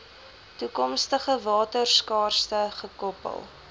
toekomstige waterskaarste gekoppel